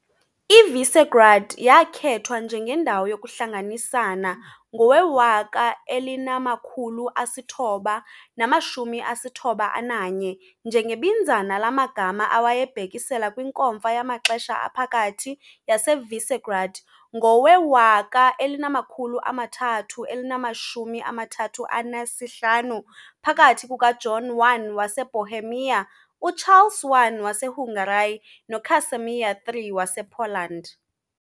IVisegrád yakhethwa njengendawo yokuhlanganisana ngowe-1991 njengebinzana lamagama awayebhekisela kwiNkomfa yamaxesha aphakathi yaseVisegrád ngowe-1335 phakathi kukaJohn I waseBohemia, uCharles I waseHungary noCasimir III wasePoland.